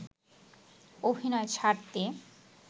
অভিনয় ছাড়তে